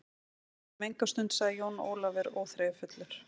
Við verðum enga stund, sagði Jón Ólafur óþreyjufullur.